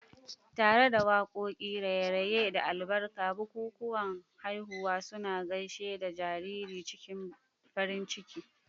Tare da waƙoƙi, raye-raye, da albarka, bikikuwan haihuwa suna gaishe da jariri cikin farin ciki.